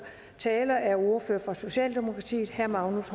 taler er ordføreren for socialdemokratiet herre magnus